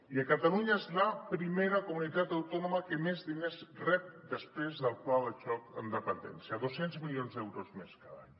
i catalunya és la primera comunitat autònoma que més diners rep després del pla de xoc en dependència dos cents milions d’euros més cada any